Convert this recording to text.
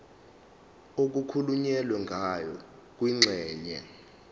okukhulunywe ngayo kwingxenye